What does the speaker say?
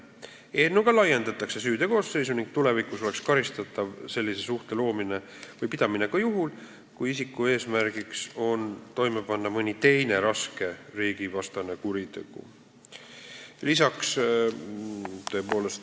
Eelnõuga laiendatakse süüteo koosseisu ning tulevikus oleks sellise suhte loomine või pidamine karistatav ka juhul, kui isiku eesmärk on panna toime mõni teine raske riigivastane kuritegu.